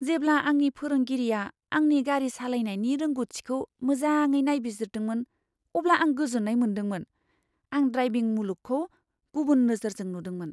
जेब्ला आंनि फोरोंगिरिआ आंनि गारि सालायनायनि रोंग'थिखौ माजाङै नायबिजिरदोंमोन अब्ला आं गोजोननाय मोनदोंमोन। आं ड्राइभिं मुलुगखौ गुबुन नोजोरजों नुदोंमोन।